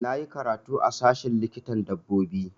Na yi karatu a sashen likitan dabbobi